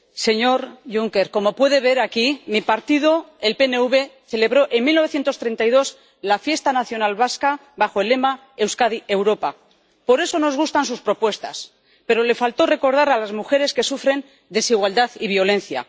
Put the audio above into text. señor Juncker, como puede ver aquí, mi partido, el PNV, celebró en 1932 la fiesta nacional vasca bajo el lema Euskadi-Europa. Por eso nos gustan sus propuestas, pero le faltó recordar a las mujeres que sufren desigualdad y violencia.